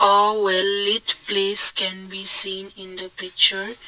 wow well it place can be seen in the picture.